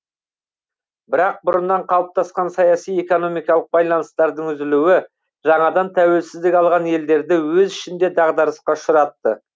бірақ бұрыннан қалыптасқан саяси экономикалық байланыстардың үзілуі жаңадан тәуелсіздік алған елдерді өз ішінде дағдарысқа ұшыратты